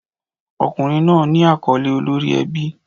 Ọkùnrin náà ní àkọ́lé olórí ẹbí.